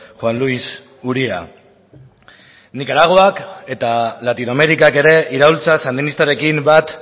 juan luis uria nikaraguak eta latinoamerikak ere iraultza sandinistarekin bat